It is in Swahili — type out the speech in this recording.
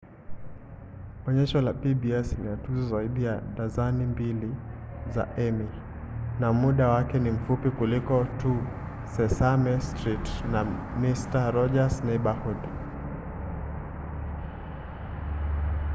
onyesho la pbs lina tuzo zaidi ya dazeni mbili za emmy na muda wake ni mfupi kuliko tu sesame street na mister roger's neighborhood